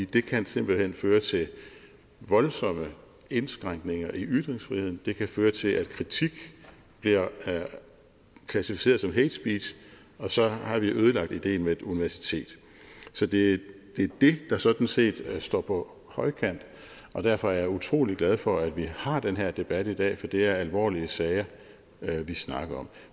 det kan simpelt hen føre til voldsomme indskrænkninger i ytringsfriheden det kan føre til at kritik bliver klassificeret som hatespeech og så har vi ødelagt ideen med et universitet det er det der sådan set står på højkant derfor er jeg utrolig glad for at vi har den her debat i dag for det er alvorlige sager vi snakker om